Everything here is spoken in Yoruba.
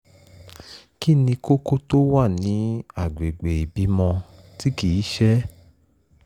kí ni kókó tó wà ní àgbègbè ìbímọ tí kì í ṣẹ́?